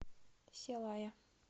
селая